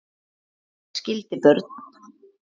Skildi börn.